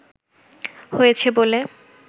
হয়েছে বলে